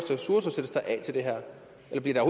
eller bliver